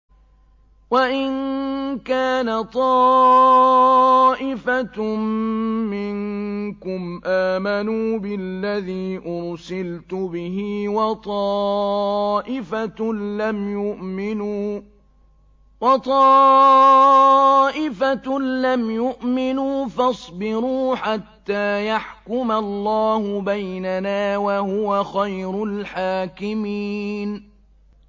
وَإِن كَانَ طَائِفَةٌ مِّنكُمْ آمَنُوا بِالَّذِي أُرْسِلْتُ بِهِ وَطَائِفَةٌ لَّمْ يُؤْمِنُوا فَاصْبِرُوا حَتَّىٰ يَحْكُمَ اللَّهُ بَيْنَنَا ۚ وَهُوَ خَيْرُ الْحَاكِمِينَ